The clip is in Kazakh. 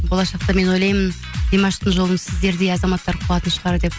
болашақта мен ойлаймын димаштың жолын сіздердей азаматтар қуатын шығар деп